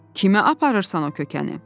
“Kimə aparırsan o kökəni?”